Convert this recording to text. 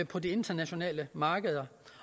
på de internationale markeder